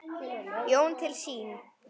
Jón til sín.